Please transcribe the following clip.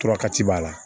Tora ka ci b'a la